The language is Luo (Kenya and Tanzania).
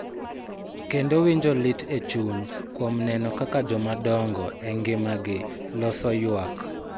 Kendo winjo lit e chuny kuom neno kaka jomadongo e ngimagi loso ywak.